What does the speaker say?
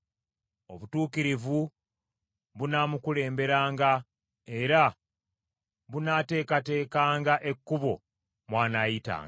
Obutuukirivu bunaamukulemberanga, era bunaateekateekanga ekkubo mw’anaayitanga.